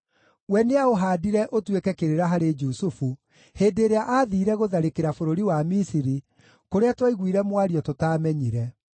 We nĩaũhaandire ũtuĩke kĩrĩra harĩ Jusufu hĩndĩ ĩrĩa aathiire gũtharĩkĩra bũrũri wa Misiri, kũrĩa twaiguire mwario tũtaamenyire.